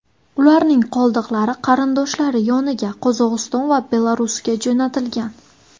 Ularning qoldiqlari qarindoshlari yoniga Qozog‘iston va Belarusga jo‘natilgan.